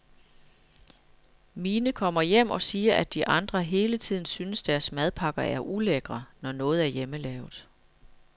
Mine kommer hjem og siger, at de andre hele tiden synes deres madpakker er ulækre når noget er hjemmelavet.